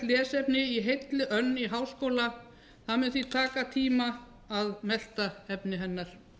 lesefni í heilli önn í háskóla það mun því taka tíma að melta efni hennar